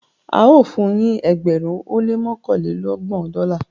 ao fun yin ẹgbẹrin ó lé mọkanlelọgbọn Dọla